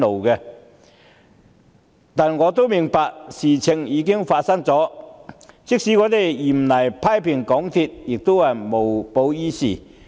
然而，我明白事情已經發生，即使嚴厲批評港鐵公司亦無補於事。